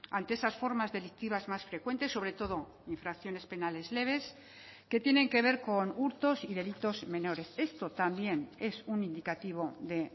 ante esas formas delictivas más frecuentes sobre todo infracciones penales leves que tienen que ver con hurtos y delitos menores esto también es un indicativo de